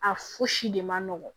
A fosi de man nɔgɔn